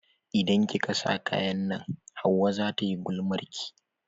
Idan kika sa kayan nan hauwa zata yi gulmarki.